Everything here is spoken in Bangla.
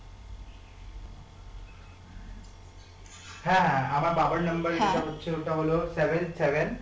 হ্যাঁ হ্যাঁ আমার বাবার number যেটা হচ্ছে ওটা হলো seven seven